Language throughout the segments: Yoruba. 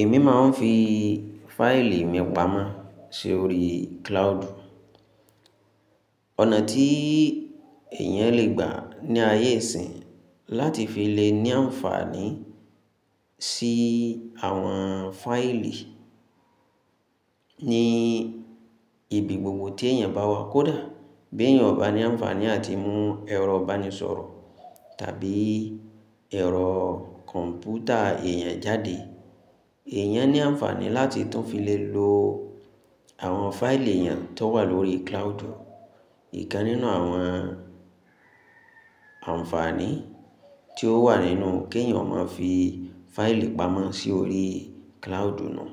Èmi máa ń fi fáìlì mi pamọ́ sórí cloud. Ọ̀nà tí èèyàn lè gbà ní ayé ìsín láti fi lè ní àǹfààní sí àwọn fáìlì ni ibi gbogbo tí èèyàn bá wà. Kódà bí èèyàn ò bá ní àǹfààní àti mú ẹ̀rọ ìbánisọ̀rọ̀ tàbí ẹ̀rọ kọ̀m̀pútà èèyàn jáde, èèyàn ní àǹfààní láti tún fi lè lo àwọn fáìlì èèyàn tó wà lórí cloud. Ìkan nínú àwọn àǹfààní tí ó wà nínú kí èèyàn ó máa fi fáìlì pamọ́ sí orí cloud nùú.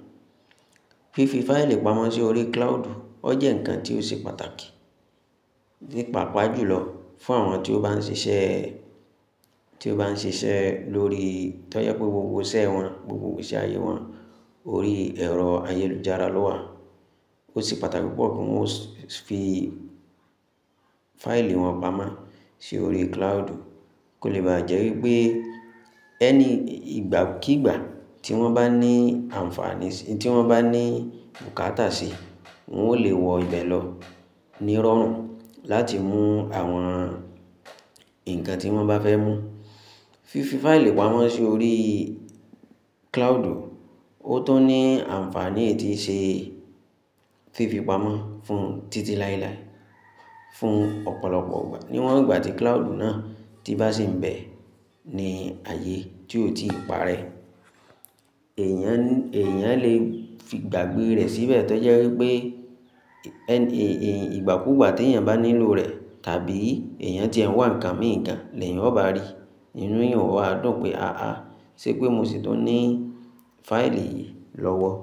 Fífi fáìlì pamọ́ sí orí cloud ó jẹ́ ǹkan tí ó ṣe pàtàkì, nípa pàájù lọ fún àwọn tí ó bá ń ṣiṣẹ́, tí ó bá ń ṣiṣẹ́ lórí tó jẹ́ pé gbogbo iṣẹ́ wọn, gbogbo ìgbésí ayé wọn lórí ẹ̀rọ ayélujára ló wà. Ó ṣe pàtàkì púpọ̀ kí wọ́n ó fi fáìlì wọn pamọ́ sí orí cloud kó lè bá jẹ́ wípé Any ìgbàkígbà tí wọ́n bá ní àǹfààní, tí wọ́n bá ní bukata síi, wọn ó lè wọ ìbẹ̀ lọ nírọ̀rùn láti mú àwọn ǹkan tí wọ́n bá fẹ́ mú. Fífi fáìlì pamọ́ si órí cloud, ó tún ní àǹfààní èyí ti n ṣe fífi pamọ́ fún títí láélàé, fún ọ̀pọ̀lọpọ̀ ìgbà. Níwọn ìgbà tí cloud náà tí bá sì ń bẹ̀ ní ààyè tí ó ti parẹ́, èèyàn lè gbàgbé rẹ̀ síbẹ̀ tó jẹ́ wípé ìgbàkúùgbà tí èèyàn bá nílò rẹ̀ tàbí èèyàn tí ẹ wà ǹkan emi gan lẹ́yan ọba rí, ni inú èèyàn ó wa dùn pé, ṣé pé mo sì tún ní fáìlì yìí lọ́wọ́?